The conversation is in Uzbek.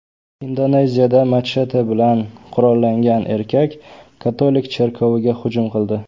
Indoneziyada machete bilan qurollangan erkak katolik cherkoviga hujum qildi.